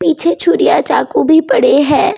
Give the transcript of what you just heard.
पीछे छूरियां चाकू भी पड़े हैं।